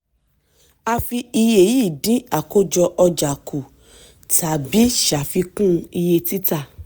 a fi iye yìí dín àkójọ ọjà kú tàbí ṣàfikún iye títà.